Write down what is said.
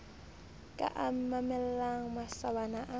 ka a mamellang masawana a